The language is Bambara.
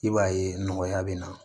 I b'a ye nɔgɔya bɛ na